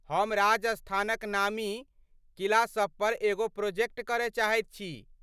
हम राजस्थानक नामी किला सभपर एगो प्रोजेक्ट करय चाहैत छी।